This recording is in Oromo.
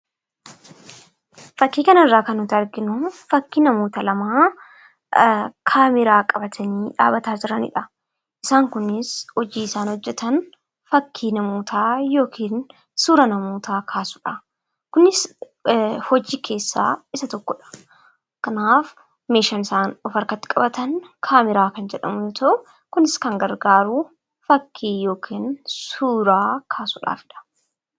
Fakkii kanarraa kan nuti arginu fakkii namoota lamaa kaameeraa qabatanii dhaabbataa jiranidha. Isaan kunis kan hojjatan fakkii namootaa yookiin suura namootaa kaasuudha. Kunis hojii keessaa isa tokkodha. Kanaaf meeshaan isan of harkatti qabatan kaameeraa kan jedhamu yoo ta'u, kunis kan gargaaru fakkii yookiin suuraa kaasuudhaafidha.